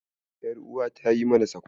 Ƴaruwata ta yi mana sakwara jiya.